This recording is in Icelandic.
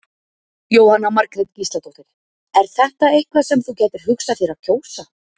Jóhanna Margrét Gísladóttir: Er þetta eitthvað sem þú gætir hugsað þér að kjósa?